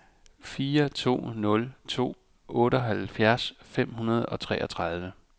fire to nul to otteoghalvfjerds fem hundrede og treogtredive